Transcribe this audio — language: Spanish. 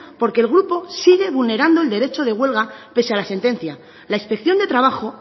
porque el grupo sigue vulnerando el derecho de huelga pese a la sentencia la inspección de trabajo